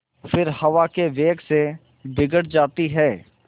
फिर हवा के वेग से बिगड़ जाती हैं